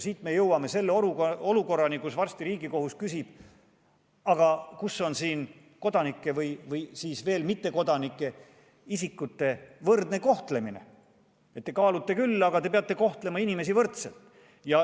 Siit me jõuame selle olukorrani, kus varsti Riigikohus küsib, et aga kus on siin mittekodanike võrdne kohtlemine, te kaalute küll, aga peate kohtlema inimesi võrdselt.